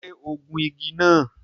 Ṣé ó gun igi náà?